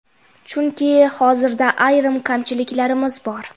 Chunki hozirda ayrim kamchiliklarimiz bor.